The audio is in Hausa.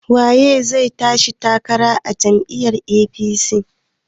Waye zai tashi takarar gwamna a jam'iyyar APC?